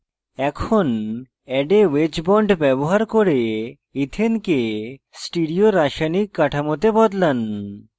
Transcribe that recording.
এখন add a wedge bond ব্যবহার করে ইথেনকে স্টিরিও রাসায়নিক কাঠামোতে বদলান